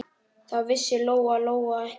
Það vissi Lóa-Lóa ekki heldur.